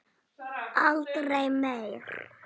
Aldrei meir!